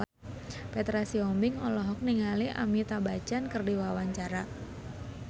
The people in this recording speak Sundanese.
Petra Sihombing olohok ningali Amitabh Bachchan keur diwawancara